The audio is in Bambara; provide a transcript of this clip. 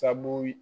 Sabu